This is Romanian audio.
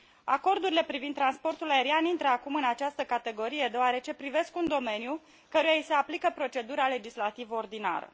Acordurile privind transportul aerian intră acum în această categorie deoarece privesc un domeniu căruia i se aplică procedura legislativă ordinară.